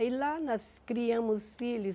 Aí lá nós criamos os filhos.